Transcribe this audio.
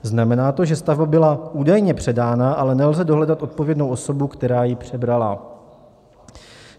Znamená to, že stavba byla údajně předána, ale nelze dohledat odpovědnou osobu, která ji přebrala.